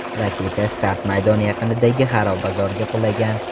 Raketa start maydoni yaqinidagi xarobazorga qulagan.